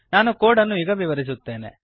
ನಾನು ಕೋಡ್ ಅನ್ನು ಈಗ ವಿವರಿಸುತ್ತೇನೆ